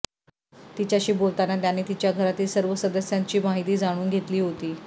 तिच्याशी बोलताना त्याने तिच्या घरातील सर्व सदस्यांची माहिती जाणून घेतली होती